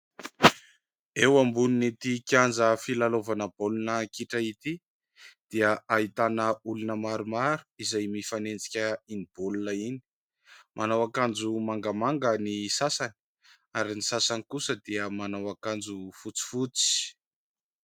Eo ambonin'ny ity kianja filalaovana baolina kitra ity dia ahitana olona maromaro izay mifanenjika iny baolina iny. Manao akanjo mangamanga ny sasany ary ny sasany kosa dia manao akanjo fotsifotsy.